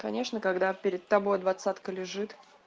конечно когда перед тобой двадцатка лежит